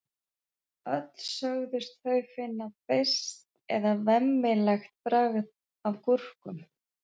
öll sögðust þau finna beiskt eða „vemmilegt“ bragð af gúrkum